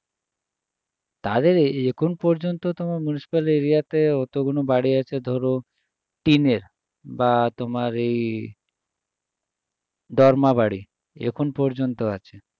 তাদের এ~ এখন পর্যন্ত তো municipal area তে অতগুলো বাড়ি আছে ধরো নিটের বা তোমার এই মরদা বাড়ি এখনও পর্যন্ত আছে